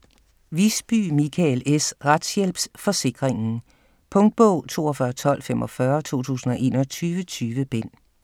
Wiisbye, Michael S.: Retshjælpsforsikringen Punktbog 421245 2021. 20 bind.